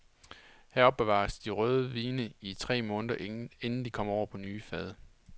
Her opbevares de røde vine i tre måneder inden de kommer over på nye fade.